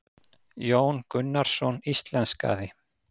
Jón Gunnarsson íslenskaði.